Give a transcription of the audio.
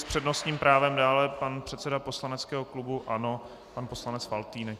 S přednostním právem dále pan předseda poslaneckého klubu ANO pan poslanec Faltýnek.